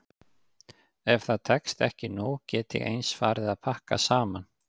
Ef það tekst ekki nú get ég eins farið að pakka saman.